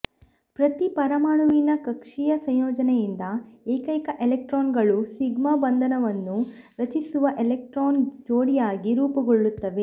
ಪ್ರತಿ ಪರಮಾಣುವಿನ ಕಕ್ಷೀಯ ಸಂಯೋಜನೆಯಿಂದ ಏಕೈಕ ಎಲೆಕ್ಟ್ರಾನ್ಗಳು ಸಿಗ್ಮಾ ಬಂಧವನ್ನು ರಚಿಸುವ ಎಲೆಕ್ಟ್ರಾನ್ ಜೋಡಿಯಾಗಿ ರೂಪುಗೊಳ್ಳುತ್ತವೆ